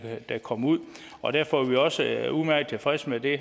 dem kom ud og derfor er vi også udmærket tilfredse med det